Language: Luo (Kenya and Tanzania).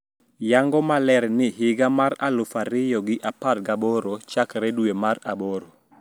Yango maler ni higa mar aluf ariyo gi apar gaboro chakre dwe mar aboro